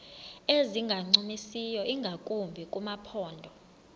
ezingancumisiyo ingakumbi kumaphondo